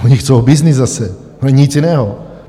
Oni chtějí byznys zase, nic jiného.